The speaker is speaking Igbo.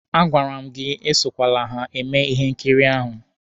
A gwara m gị esokwele eme ihe nkiri ahụ!